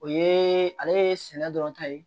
O ye ale ye sɛnɛ dɔrɔn ta ye